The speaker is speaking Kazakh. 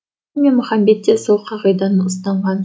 мен махамбет те сол қағиданы ұстанған